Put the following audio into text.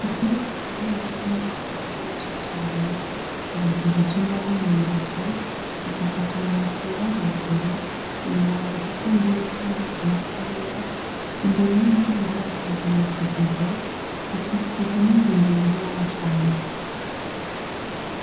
Ikiraro kinini kirimwo inka zitari nyinshi cane cubakishije imbaho mu mbavu gisakarishije amabati yera hejuru , inyuma hari ikidengeri c’amazi makeyi , imbere y’umuryango Waco haryamitse ibido ikikujwe n’indimiro n’amashamba .